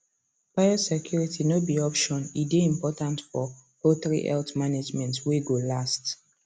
biosecurity no be option e dey important for poultry health management way go last